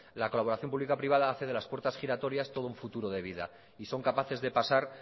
la colaboración público privada hace de las puertas giratorias todo un futuro de vida y son capaces de pasar